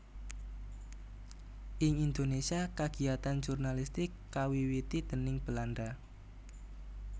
Ing Indonésia kagiatan jurnalistik kawiwiti déning Belanda